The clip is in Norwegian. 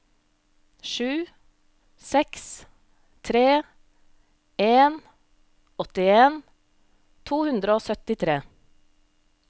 sju seks tre en åttien to hundre og syttitre